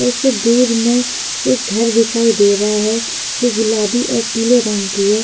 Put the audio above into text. उससे दूर में एक घर दिखाई दे रहा है जो गुलाबी और पिले रंग की है।